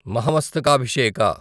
Mahamastakabhisheka